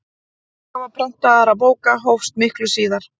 útgáfa prentaðra bóka hófst miklu síðar